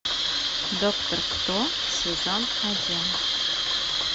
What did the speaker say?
доктор кто сезон один